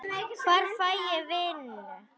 Hvar fæ ég vinnu?